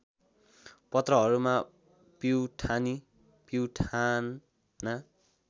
पत्रहरूमा पिउठानी पिउठाना